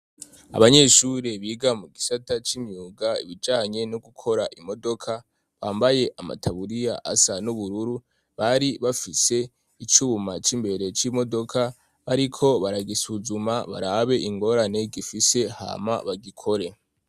Abanyeshuri biga mu gisata cy'imyuga ibijanye no gukora imodoka bambaye amataburiya asa n'ubururu, bari bafise icuma c'imbere c'imodoka bariko baragisuzuma barabe ingorane gifise hama bagikore.